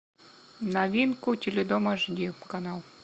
новинку теледом аш ди канал